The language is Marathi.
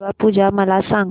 दुर्गा पूजा मला सांग